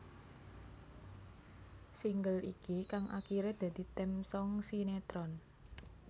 Single iki kang akiré dadi theme song sinetron